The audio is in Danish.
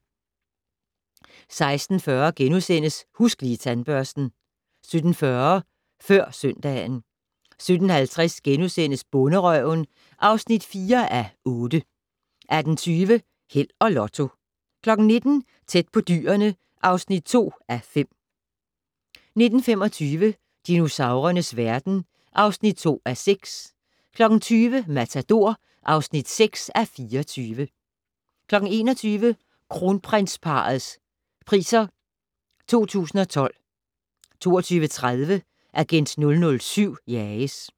16:40: Husk Lige Tandbørsten * 17:40: Før søndagen 17:50: Bonderøven (4:8)* 18:20: Held og Lotto 19:00: Tæt på dyrene (2:5) 19:25: Dinosaurernes verden (2:6) 20:00: Matador (6:24) 21:00: Kronprinsparrets Priser 2012 22:30: Agent 007 jages